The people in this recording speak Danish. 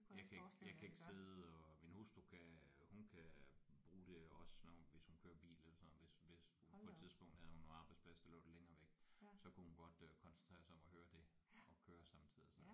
Jeg kan ikke jeg kan ikke sidde og min hustru kan hun kan bruge det også når hun hvis hun kører bil eller sådan noget hvis hvis på et tidspunkt havde hun en arbejdsplads der lå lidt længere væk så kunne hun godt øh koncentrere sig om at høre det og køre samtidig sådan noget